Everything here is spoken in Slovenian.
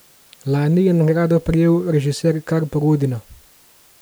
Lani je nagrado prejel režiser Karpo Godina.